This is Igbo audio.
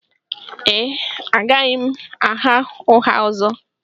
Ee, agaghị m agha ụgha ọzọ